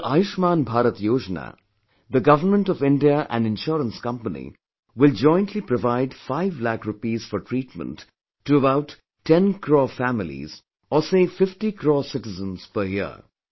Under 'Ayushman Bharat Yojana ', the Government of India and insurance companies will jointly provide 5 lakh repees for treatment to about 10 crore families or say 50 crore citizens per year